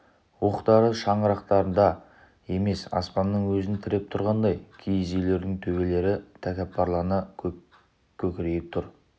уықтары шаңырақтарды емес аспанның өзін тіреп тұрғандай киіз үйлердің төбелері тәкаппарлана кекірейіп тұр